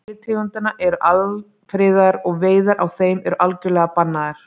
Sumar deilitegundanna eru alfriðaðar og veiðar á þeim eru algjörlega bannaðar.